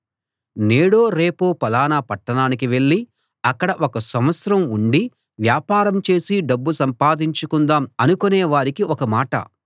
నేడో రేపో ఫలానా పట్టణానికి వెళ్ళి అక్కడ ఒక సంవత్సరం ఉండి వ్యాపారం చేసి డబ్బు సంపాదించుకుందాం అనుకునే వారికి ఒక మాట